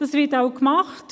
Dies wird auch getan.